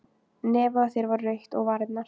Nefið á þér var rautt og varirnar.